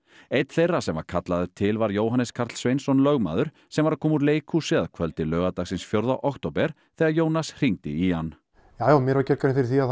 einn þeirra sem kallaður til var Jóhannes Karl Sveinsson lögmaður sem var að koma úr leikhúsi að kvöldi laugardagsins fjórða október þegar Jónas hringdi í hann já mér var gerð grein fyrir því